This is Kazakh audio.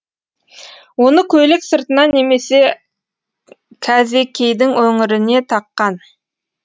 оны көйлек сыртына немесе кәзекейдің өңіріне таққан